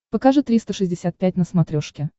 покажи триста шестьдесят пять на смотрешке